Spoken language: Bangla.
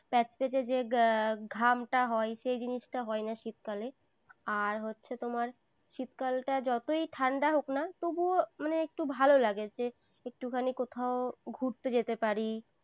প্যাচপ্যাঁচে যে ঘামটা হয়, সেই জিনিসটা হয় না শীতকালে। আর হচ্ছে তোমার শীতকালটা যতই ঠান্ডা হোক না তবুও মানে একটু ভালো লাগে, যে একটুখানি কোথাও ঘুরতে যেতে পারি।